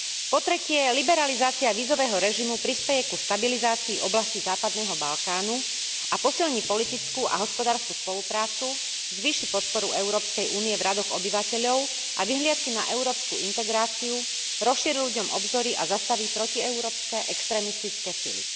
Po tretie, liberalizácia vízového režimu prispeje ku stabilizácii v oblasti západného Balkánu a posilní politickú a hospodársku spoluprácu, zvýši podporu Európskej únie v radoch obyvateľov a vyhliadky na európsku integráciu, rozšíri ľuďom obzory a zastaví protieurópske extrémistické sily.